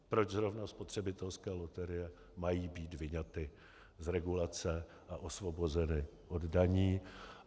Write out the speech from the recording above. Proč zrovna spotřebitelské loterie mají být vyňaty z regulace a osvobozeny od daní?